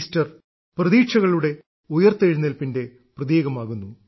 Easter പ്രതീക്ഷകളുടെ ഉയിർത്തെഴുന്നേൽപ്പിന്റെ പ്രതീകമാകുന്നു